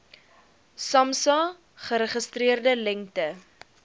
samsa geregistreerde lengte